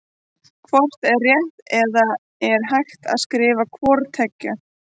Hvort er rétt eða er hægt að skrifa hvort tveggja?